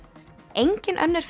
engin önnur